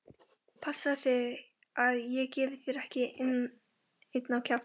Passaðu þig að ég gefi þér ekki einn á kjaftinn!